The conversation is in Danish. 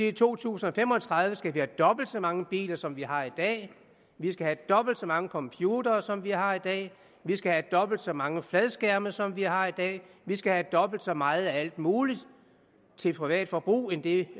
i to tusind og fem og tredive skal have dobbelt så mange biler som vi har i dag vi skal have dobbelt så mange computere som vi har i dag vi skal have dobbelt så mange fladskærme som vi har i dag vi skal have dobbelt så meget af alt muligt til privat forbrug end det